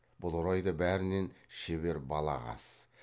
бұл орайда бәрінен шебер балағаз